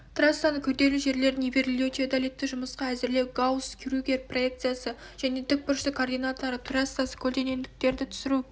трассаны күрделі жерлерін нивелирлеу теодолитті жұмысқа әзірлеу гаусс-крюгер проекциясы және тік бұрышты координаталар трассада көлденеңдіктерді түсіру